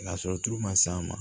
N'a sɔrɔ tulu ma s'a ma